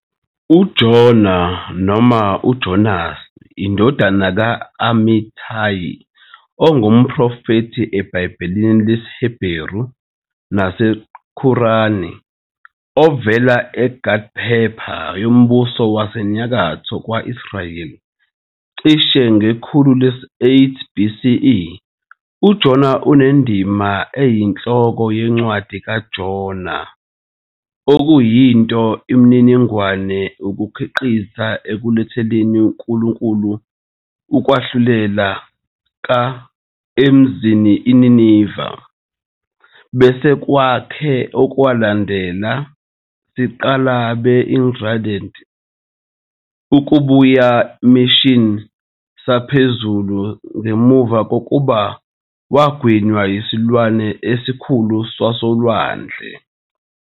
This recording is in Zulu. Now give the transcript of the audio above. UJona noma uJonas, indodana ka- Amittai, ungumprofethi eBhayibhelini lesiHeberu naseQuran, ovela eGath-hepher yombuso wasenyakatho wakwa-Israyeli cishe ngekhulu lesi-8 BCE. UJona unendima eyinhloko ye Incwadi kaJona, okuyinto imininingwane ukunqikaza ekukuletheleni Nkulunkulu ukwahlulela ka- emzini iNineve, bese kwakhe okwalandela, siqala begrudged, ukubuya mission saphezulu ngemva kokuba yagwinywa isilwane esikhulu sasolwandle.